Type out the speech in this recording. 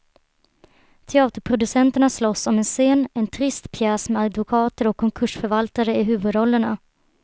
Teaterproducenterna slåss om en scen, en trist pjäs med advokater och konkursförvaltare i huvudrollerna.